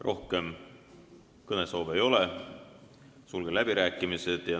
Rohkem kõnesoove ei ole, sulgen läbirääkimised.